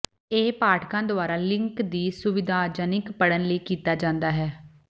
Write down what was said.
ਇਹ ਪਾਠਕਾਂ ਦੁਆਰਾ ਲਿੰਕ ਦੀ ਸੁਵਿਧਾਜਨਕ ਪੜ੍ਹਨ ਲਈ ਕੀਤਾ ਜਾਂਦਾ ਹੈ